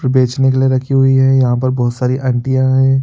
पुरे बेचने के लिए रखी हुईं है यहाँ पर बहुत सारी आंटियाँ है।